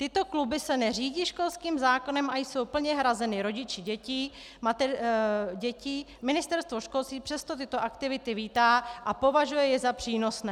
Tyto kluby se neřídí školským zákonem a jsou plně hrazeny rodiči dětí, Ministerstvo školství přesto tyto aktivity vítá a považuje je za přínosné.